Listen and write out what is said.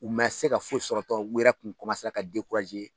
U ma se ka foyi sɔrɔ tɔn u wɛrɛ tun ka